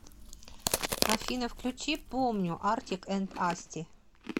афина включи помню артик энд асти